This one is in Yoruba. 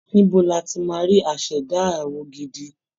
Ibo ni a ti máa rí aṣẹ̀dá àwọ̀ gidi?